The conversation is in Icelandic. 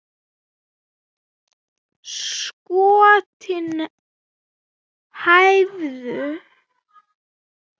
Skotin hæfðu!